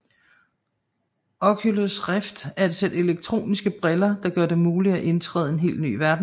Oculus Rift er et sæt elektroniske briller der gør det muligt at indtræde en helt ny verden